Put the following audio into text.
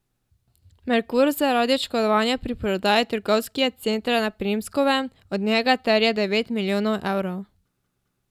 Merkur zaradi oškodovanja pri prodaji trgovskega centra na Primskovem od njega terja devet milijonov evrov.